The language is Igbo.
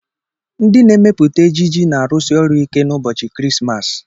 Ndị na-emepụta ejiji na-arụsi ọrụ ike n'ụbọchị Krismas.